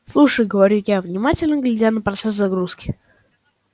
слушай говорю я внимательно глядя на процесс загрузки